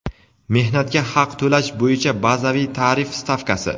Mehnatga haq to‘lash bo‘yicha bazaviy tarif stavkasi.